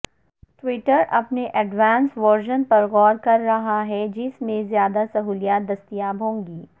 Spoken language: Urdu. ٹوئٹر اپنے ایڈوانس ورژن پر غور کررہا ہے جس میں زیادہ سہولیات دستیاب ہوں گی